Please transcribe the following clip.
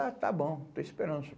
Ah, está bom, estou esperando isso.